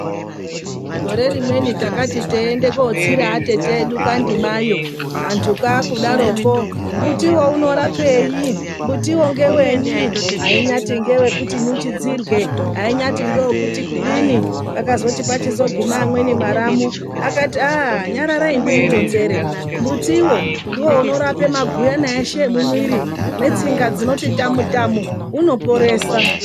Gore rimweni takati teiende kootsira atete edu kwaNdimayo, antu kwaakudaroko mbuti uyo unorapei, mbutiwo ndewenyi, ainyaati ngewekuti nyuchi dzidrye, ainyati ngewekuti kudini. Pakati pachizoguma amweni mwaramu akati "nyararai ndimuronzere, mutiwo ndiwo unorape maguyana eshe emwiri .Netsinga dzinoti tamu -tamu unoporesa."